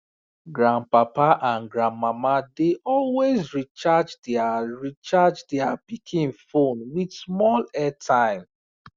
grandpapa and grandma dey always recharge their recharge their pikin phone with small airtime